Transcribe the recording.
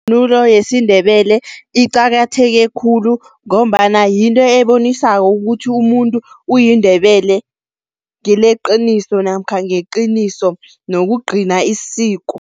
Ivunulo yesiNdebele iqakatheke khulu ngombana yinto ebonisako ukuthi umuntu uyiNdebele ngeleqiniso namkha ngeqiniso nokugcina isiko.